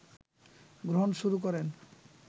গ্রহণ শুরু করেন